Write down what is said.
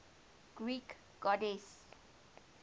greek goddesses